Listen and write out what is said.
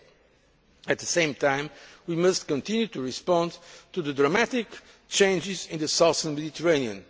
and the G8. At the same time, we must continue to respond to the dramatic changes in the southern